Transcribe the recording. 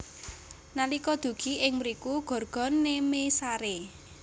Nalika dugi ing mriku Gorgon nemé saré